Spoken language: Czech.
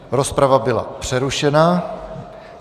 Rozprava byla přerušena.